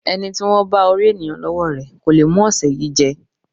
Ẹní tí wọ́n bá orí ènìyàn lọ́wọ́ rẹ kò le mú ọ̀sẹ̀ yìí jẹ́.